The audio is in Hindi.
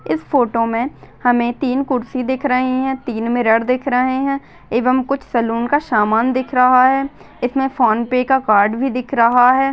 इस फोटो में हमे तीन कुर्सी दिख रहे है तीन मिरर दिख रहे है एवं कुछ सैलून का सामान दिख रहा है इसमें फ़ोन पे का कार्ड भी दिख रहा है।